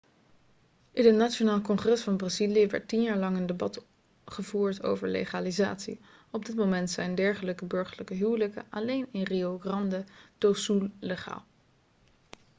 in het nationaal congres van brazilië werd 10 jaar lang een debat gevoerd over legalisatie op dit moment zijn dergelijke burgerlijke huwelijken alleen in rio grande do sul legaal